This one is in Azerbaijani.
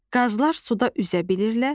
Qazlar suda üzə bilirlər.